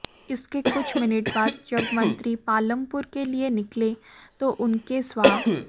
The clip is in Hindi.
इसके कुछ मिनट बाद जब मंत्री पालमपुर के लिए निकले तो उनके स्वा